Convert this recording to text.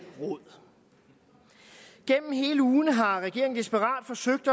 råd gennem hele ugen har regeringen desperat forsøgt